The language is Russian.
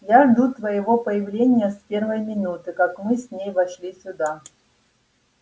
я жду твоего появления с первой минуты как мы с ней вошли сюда